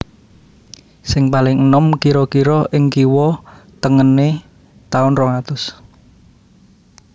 Sing paling enom kira kira ing kiwa tengené taun rong atus